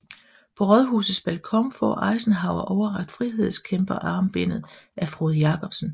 På Rådhusets balkon får Eisenhower overrakt frihedskæmperarmbindet af Frode Jacobsen